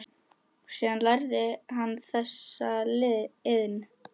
Síðan lærði hann þessa iðn.